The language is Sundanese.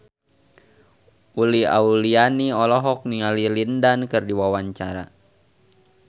Uli Auliani olohok ningali Lin Dan keur diwawancara